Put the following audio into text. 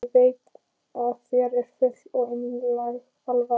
Ég veit að þér er full og einlæg alvara.